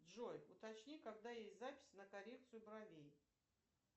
джой уточни когда есть запись на коррекцию бровей